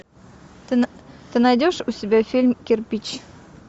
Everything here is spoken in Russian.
ты найдешь у себя фильм кирпич